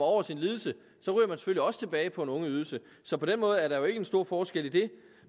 over sin lidelse så ryger også tilbage på en ungeydelse så på den måde er der jo ikke en stor forskel i det